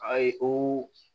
Ayi o